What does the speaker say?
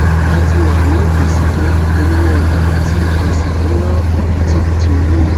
a ti wà ní àsìkò ìpolówó ọjà ti a sì n na obitibiti owó